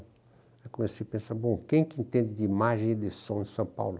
Aí comecei a pensar, bom, quem que entende de imagem e de som em São Paulo?